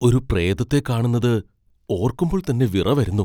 ഒരു പ്രേതത്തെ കാണുന്നത് ഓർക്കുമ്പോൾ തന്നെ വിറ വരുന്നു.